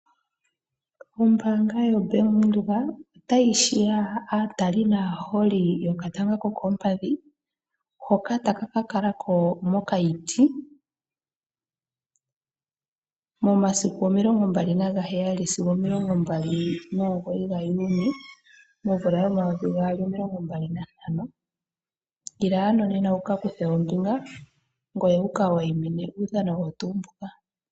Ombanga yoBank Windhoek otayi hiya aatali naaholi yokatanga kokoompadhi hoka taka ka kalako Mokayiti momasiku omilongo naga heyali sigo omilongo mbali nomugoyi gaJuni momvula yomayovi gaali omilongo mbali nantano. Ila ano nena wu ka kuthe ombinga ngoye wuka wayimine uudhano owo tuu mbuka.